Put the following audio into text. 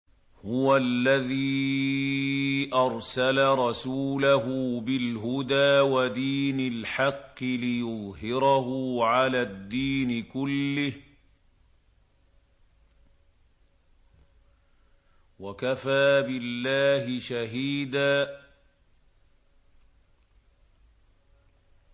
هُوَ الَّذِي أَرْسَلَ رَسُولَهُ بِالْهُدَىٰ وَدِينِ الْحَقِّ لِيُظْهِرَهُ عَلَى الدِّينِ كُلِّهِ ۚ وَكَفَىٰ بِاللَّهِ شَهِيدًا